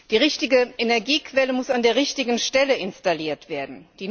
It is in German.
Die richtige Energiequelle muss an der richtigen Stelle installiert werden.